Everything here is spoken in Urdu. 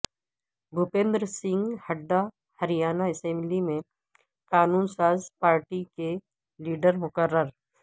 بھوپندر سنگھ ہڈا ہریانہ اسمبلی میں قانون ساز پارٹی کے لیڈر مقرر